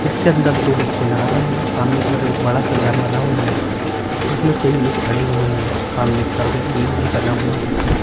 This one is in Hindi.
इसके अंदर दो बच्चे नाहा रहे है सामने बड़ा सा घर बना हुआ है जिसमे कई लोग खड़े हुए है सामने की तरफ एक गेट भी बना हुआ है।